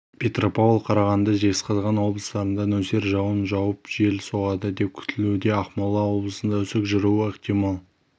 петропавл қарағанды жезқазған облыстарында нөсер жауын жауып жел соғады деп күтілуде ақмола облысында үсік жүруі ықтимал